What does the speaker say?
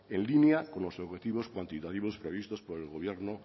en línea con los objetivos cuantitativos previstos por el gobierno